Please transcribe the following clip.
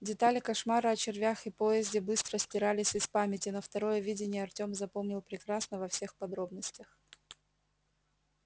детали кошмара о червях и поезде быстро стирались из памяти но второе видение артём запомнил прекрасно во всех подробностях